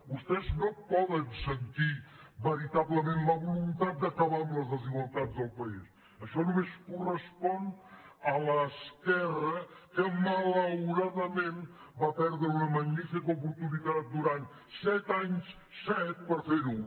vostès no poden sentir veritablement la voluntat d’acabar amb les desigual·tats del país això només correspon a l’esquerra que malauradament va perdre una magnífica oportunitat durant set anys set per fer·ho